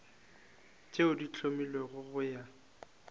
tše di hlomilwego go ya